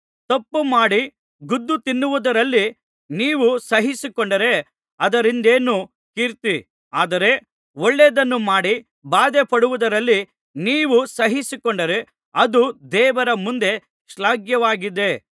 ತಪ್ಪುಮಾಡಿ ಗುದ್ದು ತಿನ್ನುವುದರಲ್ಲಿ ನೀವು ಸಹಿಸಿಕೊಂಡರೆ ಅದರಿಂದೇನು ಕೀರ್ತಿ ಆದರೆ ಒಳ್ಳೆಯದನ್ನು ಮಾಡಿ ಬಾಧೆಪಡುವುದರಲ್ಲಿ ನೀವು ಸಹಿಸಿಕೊಂಡರೆ ಅದು ದೇವರ ಮುಂದೆ ಶ್ಲಾಘ್ಯವಾಗಿದೆ